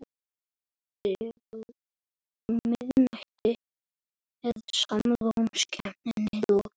Það lofar góðu.